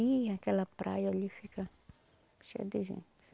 E aquela praia ali fica cheia de gente.